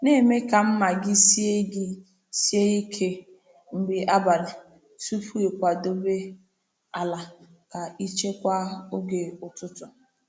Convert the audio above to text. Na-eme ka mma gị sie gị sie ike mgbe abalị tupu ịkwadebe ala ka ị chekwaa oge ụtụtụ.